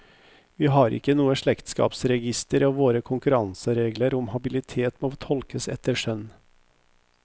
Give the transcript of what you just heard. Vi har ikke noe slektskapsregister og våre konkurranseregler om habilitet må tolkes etter skjønn.